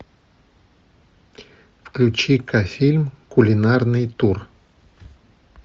включи ка фильм кулинарный тур